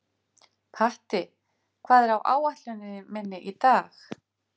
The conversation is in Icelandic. Patti, hvað er á áætluninni minni í dag?